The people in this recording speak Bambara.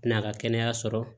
N'a ka kɛnɛya sɔrɔ